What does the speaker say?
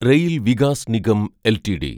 rail Vikas Nigam LTD